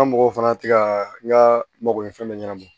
An ka mɔgɔw fana tɛ ka n ka mako ɲɛ fɛn bɛ ɲɛnabɔ